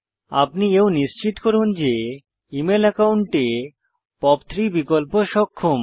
আপনি এও নিশ্চিত করুন যে ইমেল একাউন্টে পপ 3 বিকল্প সক্ষম